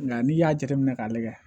Nka n'i y'a jateminɛ k'a lajɛ